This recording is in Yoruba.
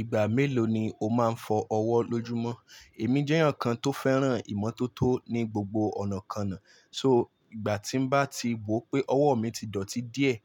Ìgbà mélòó ni o máa ń fọ ọwọ́ lójúmọ́? Èmi jẹ́ ẹ̀yàn kan tó fẹ́ràn ìmọ́tótó ní gbogbo ọ̀nàkọnà. So ìgbà tí bá ti wò pé ọwọ́ mi ti dọ̀tí díẹ̀,